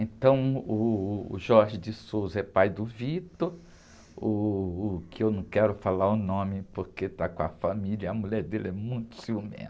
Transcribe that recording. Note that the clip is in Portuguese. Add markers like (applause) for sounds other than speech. Então, uh, o (unintelligible) é pai do, (unintelligible) uh, o que eu não quero falar o nome porque está com a família e a mulher dele é muito ciumenta.